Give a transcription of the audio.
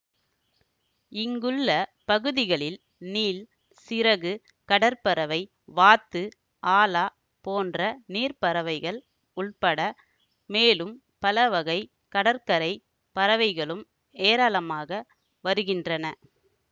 இங்குள்ள பகுதிகளில் நீள் சிறகு கடற்பறவை வாத்து ஆலா போன்ற நீர் பறவைகள் உட்பட மேலும் பலவகைக் கடற்கரை பறவைகளும் ஏராளமாக வருகின்றன